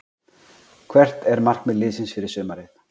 Hvert er markmið liðsins fyrir sumarið?